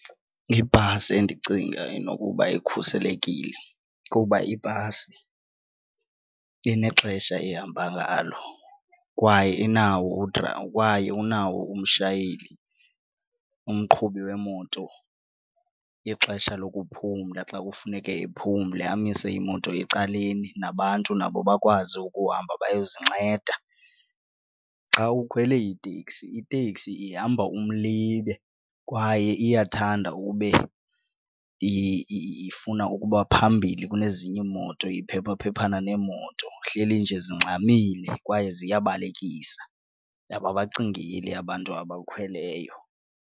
Ibhasi endicinga inokuba ikhuselekile kuba ibhasi inexesha ehamba ngalo kwaye inawo kwaye unawo umshayeli umqhubi wemoto, ixesha lokuphumla xa kufuneke ephumle amise imoto ecaleni nabantu nabo bakwazi ukuhamba bayozinceda. Xa ukhwele iteksi iteksi ihamba umlibe kwaye iyathanda ube ifuna ukuba phambili kunezinye imoto iphephaphephana neemoto ihleli nje zingxamile kwaye ziyabalekisa ababacingeli abantu abakhweleyo.